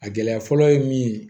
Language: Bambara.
A gɛlɛya fɔlɔ ye min ye